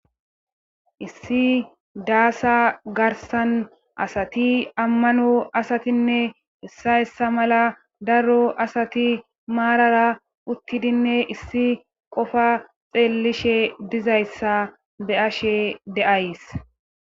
Issi daasa garsan asati ammano asatinne issa yssa mala daro asati maarara uttidinne issi qofa xeellishe dizayssa be ashe deays.